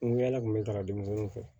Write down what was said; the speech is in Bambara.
N go yala kun be taga dumuni ko fɛ